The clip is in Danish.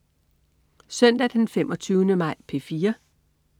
Søndag den 25. maj - P4: